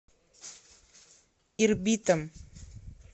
ирбитом